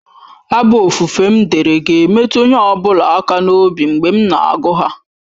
Abụ ofufe m dere ga-emetụ onye ọ bụla aka n'obi mgbe m na-agụ ha.